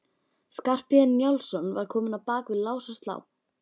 Skarphéðinn Njálsson var kominn á bak við lás og slá.